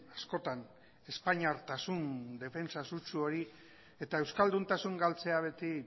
askotan espainiartasun defentsa sutsu hori eta euskalduntasun galtzea beti